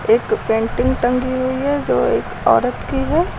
एक पेंटिंग टंगी हुई है जो एक औरत की है।